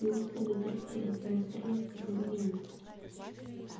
его следует расстрелять расстрелять как изменника